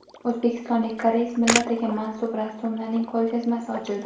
O‘zbekistonlik koreys millatiga mansub rassomlarning ko‘rgazmasi ochildi.